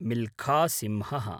मिल्खा सिंहः